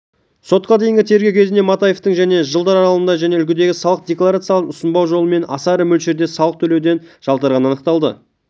сотқа дейінгі тергеу кезінде матаевтың және жылдар аралығында және үлгідегі салық декларацияларын ұсынбау жолымен аса ірі мөлшерде салық төлеуден жалтарғаны анықталды